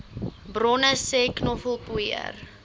bronne sê knoffelpoeier